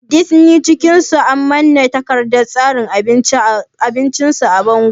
Disni cikin sun manna takardar tsarin abinci su a bango